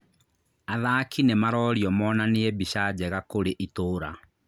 Athaki nĩmarorio monanie mbica njega kũrĩ itũra